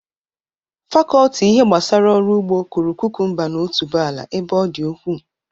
Fakọlti ihe gbasara ọrụ ugbo kụrụ kukumba na otuboala ebe ọ dị ukwu.